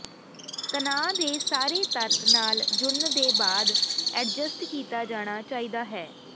ਤਣਾਅ ਦੇ ਸਾਰੇ ਤੱਤ ਨਾਲ ਜੁੜਨ ਦੇ ਬਾਅਦ ਐਡਜਸਟ ਕੀਤਾ ਜਾਣਾ ਚਾਹੀਦਾ ਹੈ